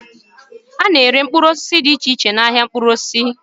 A na-ere mkpụrụ osisi dị iche iche n'ahia mkpụrụ osisi.